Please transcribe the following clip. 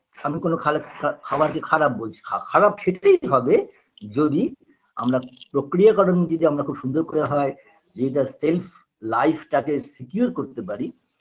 আমিকোনো খালে খা খাবারকে খারাপ বলছি খা খারাপ সেটাই হবে যদি আমরা প্রক্রিয়াকরণটি যদি খুব সুন্দর করে হয় যদি তার self life -টাকে secure করতে পারি